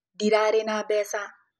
Ndararĩ na mbeca